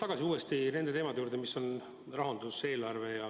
Ma tulen uuesti tagasi nende teemade juurde, mis on rahandus ja eelarve.